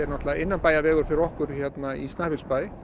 innanbæjarvegur fyrir okkur hérna í Snæfellsbæ